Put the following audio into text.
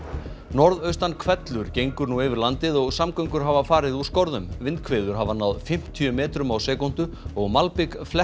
norðaustan hvellur gengur nú yfir landið og samgöngur hafa farið úr skorðum vindhviður hafa náð fimmtíu metrum á sekúndu og malbik